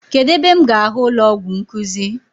Kedụ ebe m ga ahụ ụlọọgwụ nkuzi?